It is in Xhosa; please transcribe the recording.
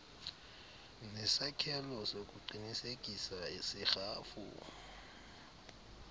nesakhelo sokuqinisekisa serhafu